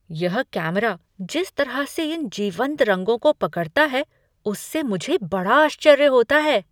यह कैमरा जिस तरह से इन जीवंत रंगों को पकड़ता है उससे मुझे बड़ा आश्चर्य होता है!